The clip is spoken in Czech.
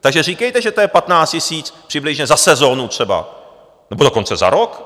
Takže říkejte, že to je 15 000 přibližně za sezónu třeba, nebo dokonce za rok?